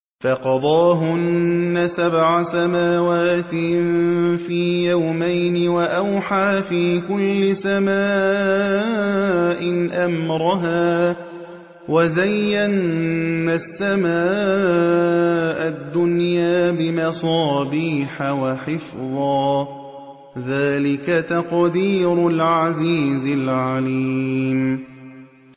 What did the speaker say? فَقَضَاهُنَّ سَبْعَ سَمَاوَاتٍ فِي يَوْمَيْنِ وَأَوْحَىٰ فِي كُلِّ سَمَاءٍ أَمْرَهَا ۚ وَزَيَّنَّا السَّمَاءَ الدُّنْيَا بِمَصَابِيحَ وَحِفْظًا ۚ ذَٰلِكَ تَقْدِيرُ الْعَزِيزِ الْعَلِيمِ